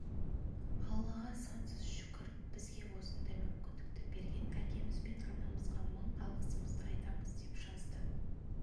аллаға сансыз шүкір бізге осындай мүмкіндікті берген әкеміз бен анамызға мың алғысымызды айтамыз деп жазды